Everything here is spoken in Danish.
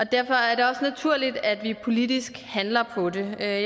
derfor er det også naturligt at vi politisk handler på det jeg er